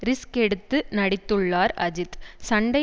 risk எடுத்து நடித்துள்ளார் அஜித் சண்டை